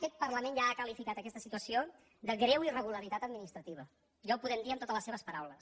aquest parlament ja ha qualificat aquesta situació de greu irregularitat administrativa ja ho podem dir amb totes les seves paraules